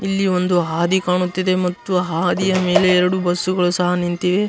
ಇಲ್ಲಿ ಒಂದು ಹಾದಿ ಕಾಣುತ್ತಿದೆ ಮತ್ತು ಹಾದಿಯ ಮೇಲೆ ಎರಡು ಬಸ್ಗಳು ಸಹ ನಿಂತಿವೆ .